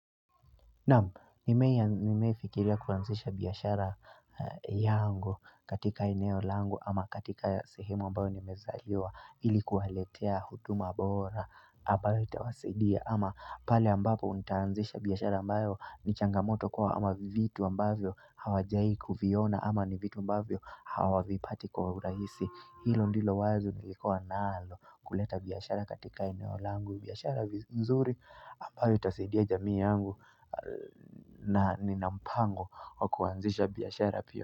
Naam, nimewahi fikiria kuanzisha biashara yangu katika eneo langu ama katika sehemu ambayo nimezaliwa ili kuwaletea huduma bora ambayo itawasidia ama pale ambapo nitaanzisha biashara ambayo ni changamoto kwao ama vitu ambayo hawajai kuviona ama ni vitu ambayo hawavipati kwa urahisi Hilo ndilo wazo nilikuwa nalo kuleta biashara katika eneo langu biashara nzuri ambayo itasaidia jamii yangu na nina mpango wa kuanzisha biashara pia.